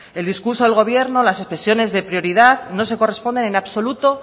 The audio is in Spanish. el discurso del gobierno las expresiones de prioridad no se corresponden en absoluto